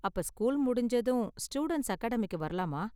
அப்ப ஸ்கூல் முடிஞ்சதும் ஸ்டூடண்ட்ஸ் அகாடமிக்கு வரலாமா?